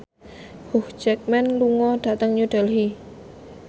Hugh Jackman lunga dhateng New Delhi